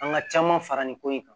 An ka caman fara nin ko in kan